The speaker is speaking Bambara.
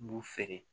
B'u feere